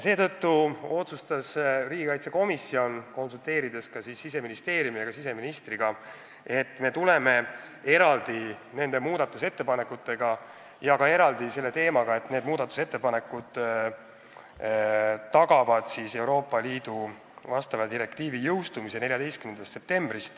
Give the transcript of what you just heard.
Seetõttu otsustas riigikaitsekomisjon, konsulteerinuna ka Siseministeeriumi ja siseministriga, et me tuleme nende ettepanekutega eraldi välja ja need tagavad ka Euroopa Liidu direktiivi ülevõtmise 14. septembriks.